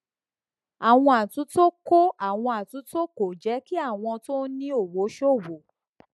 àwọn àtúntò kò àwọn àtúntò kò jẹ kí àwọn tó ní owó ṣòwò